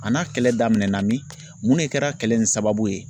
A n'a kɛlɛ daminɛna min, mun de kɛra kɛlɛ in sababu ye?